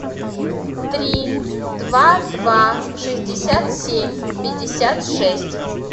три два два шестьдесят семь пятьдесят шесть